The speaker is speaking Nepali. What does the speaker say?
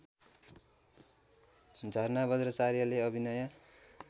झरना बज्राचार्यले अभिनय